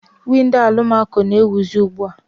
Windo alụmako na-ewizi ugbua.